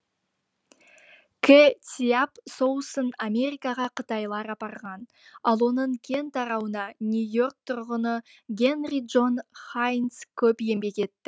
кэ циап соусын америкаға қытайлар апарған ал оның кең тарауына нью йорк тұрғыны генри джон хайнц көп еңбек етті